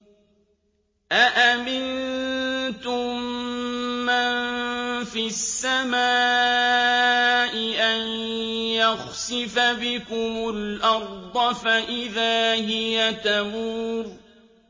أَأَمِنتُم مَّن فِي السَّمَاءِ أَن يَخْسِفَ بِكُمُ الْأَرْضَ فَإِذَا هِيَ تَمُورُ